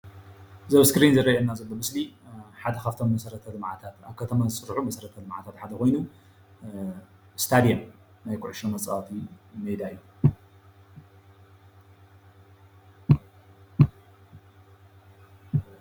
እዚ ኣብ እስክሪን ዝርአየና ዘሎ ምስሊ ሓደ ካብቶም መሰረተ ልምዓታት ኣብ ከተማታት ዝስራሑ መሰረተ ልምዓት ሓደ ኮይኑ እስታድዮም ናይ ኩዕሾ መፃወቲ ሜዳ እዩ፡፡